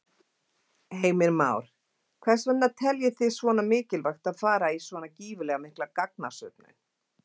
Heimir Már: Hvers vegna teljið þið svona mikilvægt að fara í svona gífurlega mikla gagnasöfnun?